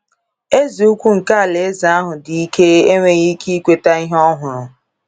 Eze ukwu nke alaeze ahụ dị ike enweghị ike ikweta ihe ọ hụrụ.